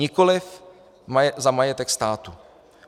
Nikoliv za majetek státu.